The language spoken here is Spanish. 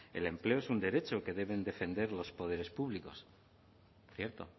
el empleo es un derecho que deben defender los poderes públicos cierto